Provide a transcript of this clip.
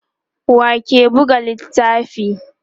wake Buga littafin?